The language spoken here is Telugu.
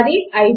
అది 5